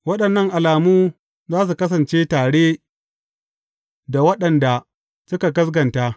Waɗannan alamu za su kasance tare da waɗanda suka gaskata.